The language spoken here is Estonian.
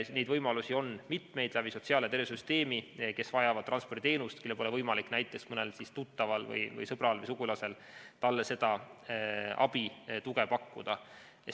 Neid võimalusi on sotsiaal‑ ja tervisesüsteemis mitu, kes vajavad transporditeenust ja kellele pole võimalik näiteks mõnel tuttaval, sõbral või sugulasel seda abi ja tuge pakkuda.